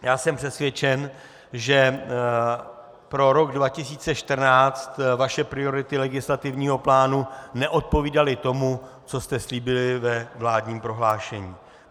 Já jsem přesvědčen, že pro rok 2014 vaše priority legislativního plánu neodpovídaly tomu, co jste slíbili ve vládním prohlášení.